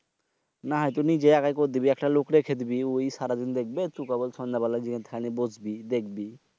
না হয় তো নিজে একাই কর দিবি একটা লোক রেখে দিবি ওই সারাদিন দেখবে তুক কেবল সন্ধ্যা বেলায় থানে গিয়ে দেখবি বসবি।